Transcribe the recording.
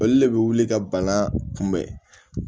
Olu le be wuli ka bana kunbɛn